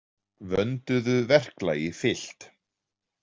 Vönduðu verklagi fylgt.